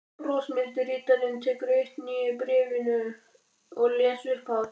Brosmildi ritarinn tekur eitt nýju bréfanna og les upphátt: